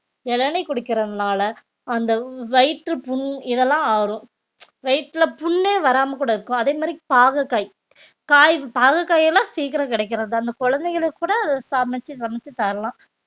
இளநீர் குடிக்கிறதுனால அந்த வயிற்றுப்புண் இதெல்லாம் ஆறும் வயித்துல புண்ணே வராம கூட இருக்கும் அதே மாதிரி பாகற்காய் ~காய் பாகற்காயெல்லாம் சீக்கிரம் கிடைக்கிறது தான் அந்த குழந்தைகளுக்கு கூட சமைச்சு சமைச்சு தரலாம்